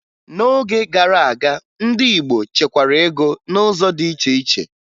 N'oge gara aga, ndị Igbo chekwara ego n'ụzọ dị iche iche